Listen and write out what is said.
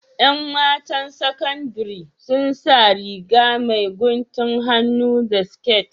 ’Yan matan saƙandiri sun sa Riga mai guntun hannu da siƙet